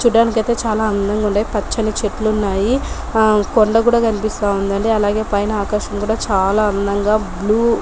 చూడ్డానికి అయితే చాలా అందంగా ఉంది పచ్చని చెట్లు ఉన్నాయి కొండ కూడా కనిపిస్తా ఉందండి అలాగే పైన ఆకాశం కూడా చాలా అందంగా బ్లూ .